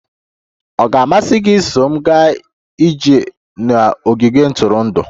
Ọ ga-amasị gị iso m gaa ije n'ogige ntụrụndụ?